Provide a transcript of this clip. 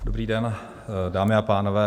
Dobrý den, dámy a pánové.